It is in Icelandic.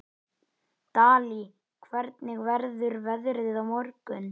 Dalí, hvernig verður veðrið á morgun?